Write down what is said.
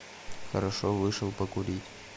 хорошо вышел покурить